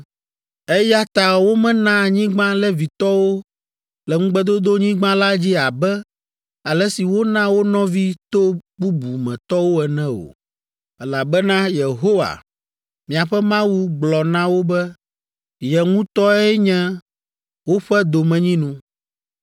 Eya ta womena anyigba Levitɔwo le Ŋugbedodonyigba la dzi abe ale si wona wo nɔvi to bubu me tɔwo ene o, elabena Yehowa, miaƒe Mawu gblɔ na wo be ye ŋutɔe nye woƒe domenyinu.